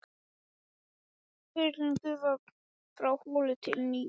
Ferill gufu frá holu til nýtingar